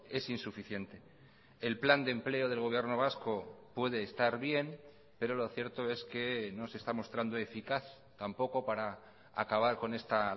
es insuficiente el plan de empleo del gobierno vasco puede estar bien pero lo cierto es que no se está mostrando eficaz tampoco para acabar con esta